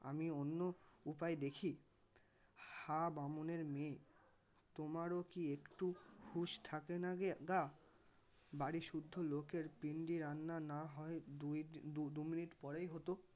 আমি অন্য উপায় দেখি হা বামুনের মেয়ে তোমারও কি একটু হুঁশ থাকেনা গে গা. বাড়িসুদ্ধু লোকের পিণ্ডি রান্না নাহয় দুই ~ দু মিনিট পরেই হত.